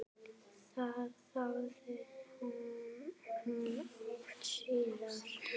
Það þáði hún oft síðar.